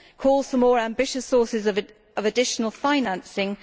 calls for more ambitious sources of additional financing